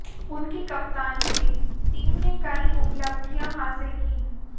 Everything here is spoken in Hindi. उनकी कप्तानी में टीम ने कई उपलब्धियां हासिल कीं